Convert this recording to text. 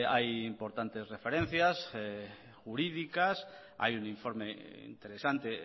hay importantes referencias jurídicas hay un informe interesante